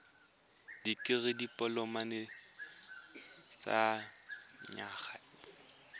dikirii dipoloma ya dinyaga di